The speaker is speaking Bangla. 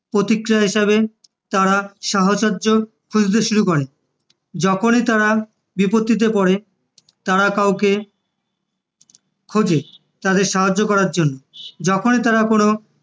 প্রতিক্রিয়া হিসেবে তারা সাহচর্য খুঁজতে শুরু করে, যখনি তারা কোনো বিপত্তিতে পরে তারা কাউকে খোঁজে তাদের সাহায্য করার জন্য, যখনি তারা কোনো